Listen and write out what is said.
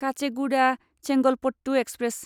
Kacheguda Chengalpattu express